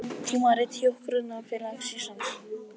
Tímarit Hjúkrunarfélags Íslands